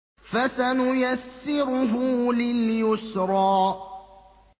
فَسَنُيَسِّرُهُ لِلْيُسْرَىٰ